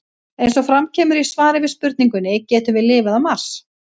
Eins og fram kemur í svari við spurningunni Getum við lifað á Mars?